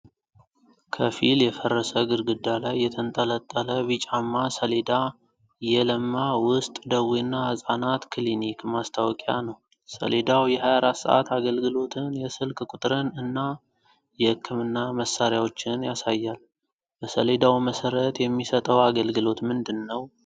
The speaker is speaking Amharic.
ከፊል የፈረሰ ግድግዳ ላይ የተንጠለጠለ ቢጫማ ሰሌዳ የ"የለማ የውስጥ ደዌና ህፃናት ክሊኒክ" ማስታወቂያ ነው። ሰሌዳው የ24 ሰዓት አገልግሎትን፣ የስልክ ቁጥርን እና የህክምና መሳሪያዎችን ያሳያል፤ በሰሌዳው መሰረት የሚሰጠው አገልግሎት ምንድን ነው?